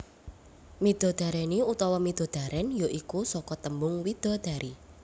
Midodareni utawa midodaren ya iku saka tembung widadari